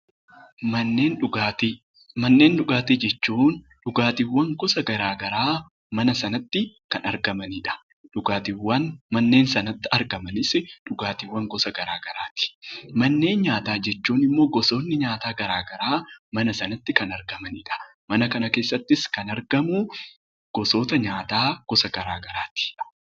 Manneen dhugaatii Manneen dhugaatii jechuun dhugaatiiwwan gosa gara garaa mana sanatti kan argamani dha. Dhugaatiiwwan manneen sanatti argamanisi dhugaatiiwwan gosa gara garaa ti. Manneen nyaataa jechuun immoo gosoonni nyaataa gara garaa mana sanatti kan argamani dha. Mana kana keessattis kan argamu gosoota nyaataa gosa garaa garaa ti.